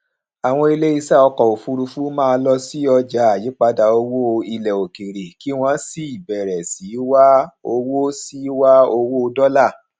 àwọn iléeṣẹ ọkọ òfuurufú máa lọ sí ọjà àyípadà owó ilẹ òkèèrè kí wọn sì bẹrẹ sí wá owó sí wá owó dọlà